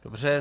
Dobře.